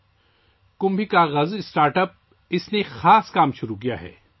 'Kumbhi Kagaz' startup نے ایک خاص کام شروع کیا ہے